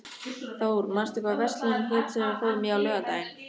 Thór, manstu hvað verslunin hét sem við fórum í á laugardaginn?